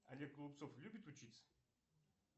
олег голубцов любит учиться